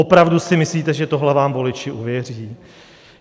Opravdu si myslíte, že tohle vám voliči uvěří?